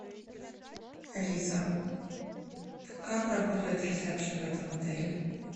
алиса как работает ресепшн в этом отеле